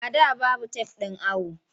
A da babu tef ɗin awo.